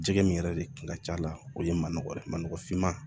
Jɛgɛ min yɛrɛ de kun ka ca la o ye ma nɔgɔ dɛ ma nɔgɔ finman